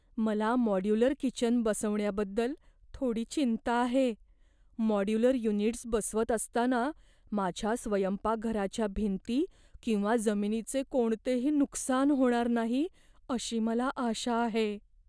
मला modular kitchen बसवण्याबद्दल थोडी चिंता आहे. मॉड्युलर युनिट्स बसवत असताना माझ्या स्वयंपाकघराच्या भिंती किंवा जमिनीचे कोणतेही नुकसान होणार नाही अशी मला आशा आहे.